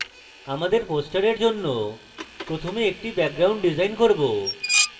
আমাদের poster জন্য প্রথমে একটি background ডিসাইন করব